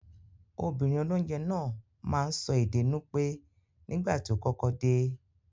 Obìnrin olónje náà máa n so ède Nupe nígbàtí o kọ́kọ́ de